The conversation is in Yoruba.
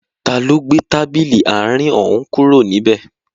Taló gbé tábìlì àárín òún kúrò níbẹ̀?